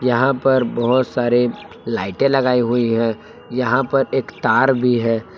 यहां पर बहुत सारे लाइटें लगाई हुई हैं यहां पर एक तार भी है।